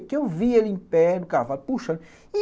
Porque eu vi ele em pé, no cavalo, puxando.